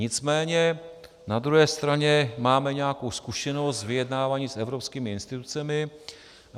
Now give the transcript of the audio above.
Nicméně na druhé straně máme nějakou zkušenost z vyjednávání s evropskými institucemi.